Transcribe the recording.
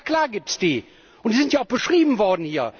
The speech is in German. Na klar gibt es die, und sie sind ja auch hier beschrieben worden.